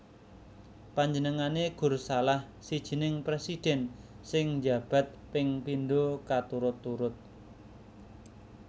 Panjenengané gur salah sijining presidhèn sing njabat peng pindo katurut turut